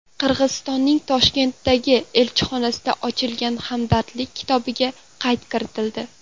Qirg‘izistonning Toshkentdagi elchixonasida ochilgan Hamdardlik kitobiga qayd kiritildi.